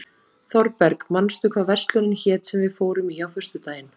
Þorberg, manstu hvað verslunin hét sem við fórum í á föstudaginn?